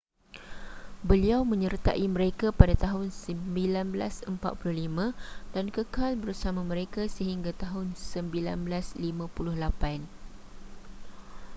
beliau menyertai mereka pada tahun 1945 dan kekal bersama mereka sehingga tahun 1958